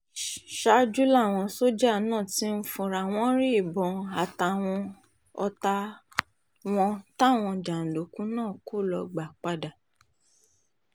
ṣáájú làwọn sójà náà ti fúnra wọn rí ìbọn àtàwọn ọ̀tá wọn táwọn jàǹdùkú náà kọ́ ló gbà padà